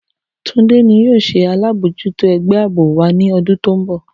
Tunde ni yoo ṣe alabojuto ẹgbẹ aabo wa ni ọdun ti n bọ